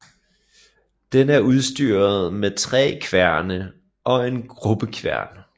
Den er udstyret med tre kværne og en grubbekværn